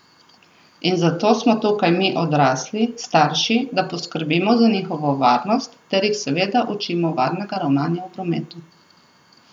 In zato smo tukaj mi odrasli, starši, da poskrbimo za njihovo varnost, ter jih seveda učimo varnega ravnanja v prometu.